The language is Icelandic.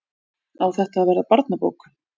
Á þetta að verða barnabók?